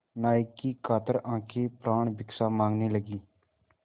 नायक की कातर आँखें प्राणभिक्षा माँगने लगीं